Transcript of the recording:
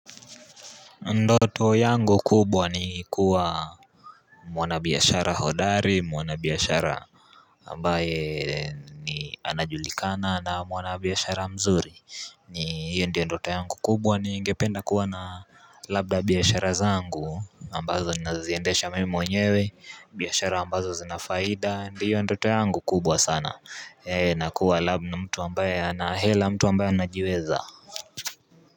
Ndoto yangu kubwa ni kuwa mwana biashara hodari mwanabiashara ambaye ni anajulikana na mwana biashara mzuri ni hiyo ndio ndoto yangu kubwa ningependa kuwa na labda biashara zangu ambazo naziendesha mimi mwenyewe biashara ambazo zina faida ndiyo ndoto yangu kubwa sana na kuwa labda mtu ambaye ana hela mtu ambaye anajiweza.